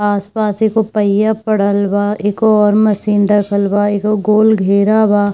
आस-पास एगो पहिया पड़ल बा एगो और मशीन रखल बा एगो गोल घेरा बा।